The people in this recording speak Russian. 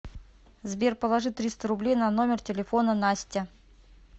сбер положи триста рублей на номер телефона настя